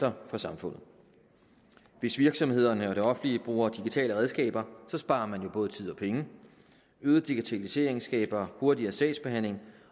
for samfundet hvis virksomhederne og det offentlige bruger digitale redskaber sparer man jo både tid og penge øget digitalisering skaber hurtigere sagsbehandling